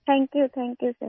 thank you thank you सिर